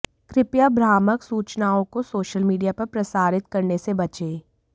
कृपया भ्रामक सूचनाओं को सोशल मीडिया पर प्रसारित करने से बचें